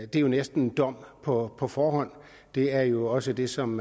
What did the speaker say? det er jo næsten en dom på på forhånd det er jo også det som